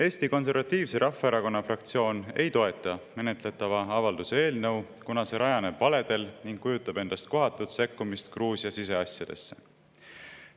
Eesti Konservatiivse Rahvaerakonna fraktsioon ei toeta menetletavat avalduse eelnõu, kuna see rajaneb valedel ning kujutab endast kohatut sekkumist Gruusia siseasjadesse.